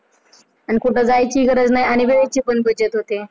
आणि कुठं जायची पण गरज नाही आणि वेळेची पण बचत होते.